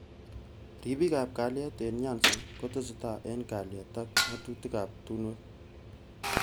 Ribik ab kalyet eng Nyanza koteseta eng kalyet ak.ngatutik ab tungwek.